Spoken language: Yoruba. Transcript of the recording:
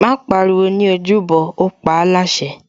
Má pariwo ní ojúbọ, ó paáláṣẹ